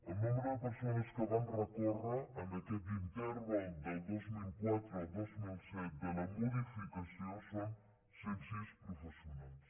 el nombre de persones que van recórrer en aquest interval del dos mil quatre al dos mil set la modificació són cent sis professionals